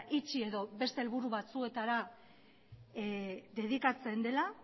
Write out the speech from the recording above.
itxi edo beste helburu batzuetara dedikatzen dela